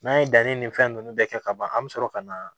N'an ye danni ni fɛn nunnu bɛɛ kɛ ka ban an be sɔrɔ ka na